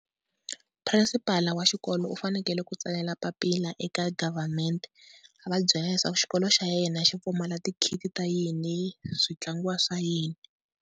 Principal wa xikolo u fanekele ku tsalela papila eka government, a va byela leswaku xikolo xa yena xi pfumala ti-kit ta yini swi tlangiwa swa yini.